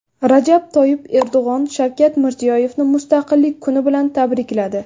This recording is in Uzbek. Rajab Toyyib Erdo‘g‘on Shavkat Mirziyoyevni Mustaqillik kuni bilan tabrikladi.